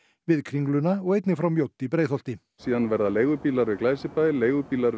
við Kringluna og einnig frá Mjódd í Breiðholti síðan verða leigubílar við Glæsibæ leigubílar